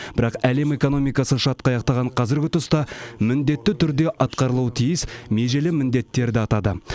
бірақ әлем экономикасы шатқаяқтаған қазіргі тұста міндетті түрде атқарылуы тиіс межелі міндеттерді атады